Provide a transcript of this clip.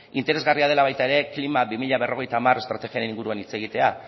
interesgarria dela baita ere klima bi mila berrogeita hamar estrategiaren inguruan hitz egitea